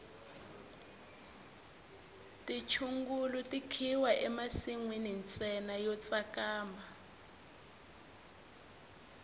tichungulu ti khiwa emisinyeni ntsena yo tsakama